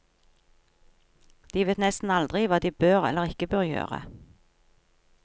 De vet nesten aldri hva de bør eller ikke bør gjøre.